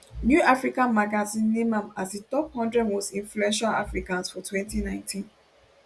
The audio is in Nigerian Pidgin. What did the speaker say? new african magazine name am as di top one hundred most influential africans for 2019